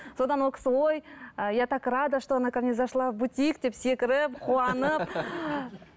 содан ол кісі ой ыыы я так рада что она ко мне зашла в бутик деп секіріп қуанып